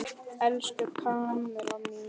Elsku Kamilla mín!